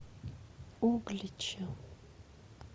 углича